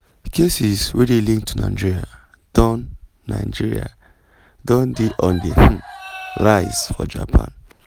cases wey dey linked to nigeria don nigeria don dey on di um rise for japan. um